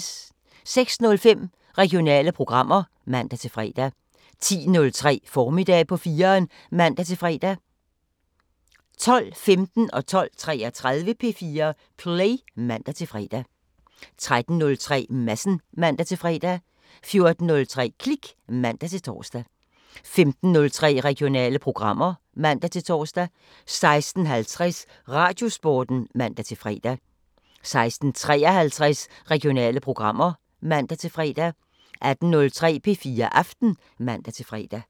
06:05: Regionale programmer (man-fre) 10:03: Formiddag på 4'eren (man-fre) 12:15: P4 Play (man-fre) 12:33: P4 Play (man-fre) 13:03: Madsen (man-fre) 14:03: Klik (man-tor) 15:03: Regionale programmer (man-tor) 16:50: Radiosporten (man-fre) 16:53: Regionale programmer (man-fre) 18:03: P4 Aften (man-fre)